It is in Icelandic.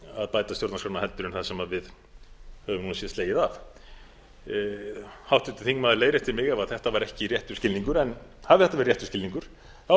að bæta stjórnarskrána heldur en það sem við höfum nú slegið af háttvirtur þingmaður leiðréttir mig ef þetta var ekki réttur skilningur en hafi þetta verið réttur skilningur er það alveg